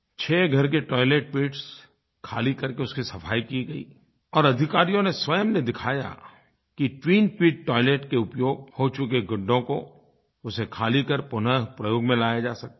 छह घर के टॉयलेट पिट्स ख़ाली करके उसकी सफ़ाई की गई और अधिकारियों ने स्वयं ने दिखाया कि ट्विन पिट टॉयलेट के उपयोग हो चुके गड्ढों को उसे ख़ाली कर पुनः प्रयोग में लाया जा सकता है